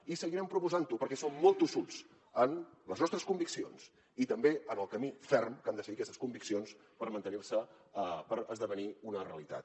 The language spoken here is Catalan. i seguirem proposant ho perquè som molt tossuts en les nostres conviccions i també en el camí ferm que han de seguir aquestes conviccions per mantenir se per esdevenir una realitat